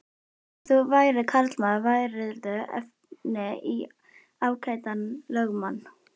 Ef þú værir karlmaður værirðu efni í ágætan lögmann.